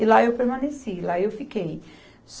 E lá eu permaneci, lá eu fiquei.